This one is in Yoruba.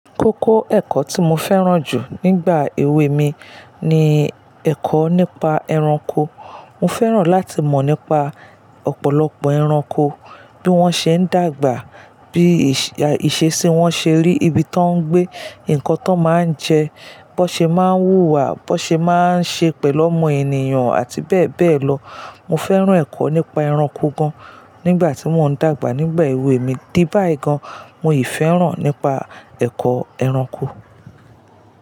Kókó ẹ̀kọ́ tí mo fẹ́ràn jù nígbà èwe mi ni ẹ̀kọ́ nípa ẹranko. Mo fẹ́ràn láti mọ̀ nípa ọ̀pọ̀lọpọ̀ ẹranko, bí wọ́n ṣe ń dàgbà, bí ìṣesí wọ́n ṣe rí, ibi tí wọ́n ń gbé, nǹkan tí wọ́n máa ń jẹ, bó ṣe máa ń hùwà, bó ṣe máa ń ṣe pẹ̀lú ọmọ ènìyàn àti bẹ́ẹ̀ bẹ́ẹ̀ lọ. Mo fẹ́ràn ẹ̀kọ́ nípa ẹranko gan nígbà tí mò ń dàgbà nígbà èwe mi, dí bá yi gan mo ì fẹ́ràn nípa ẹ̀kọ́ ẹranko.